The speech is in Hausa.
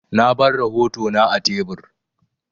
Na bar rahotona a tebur.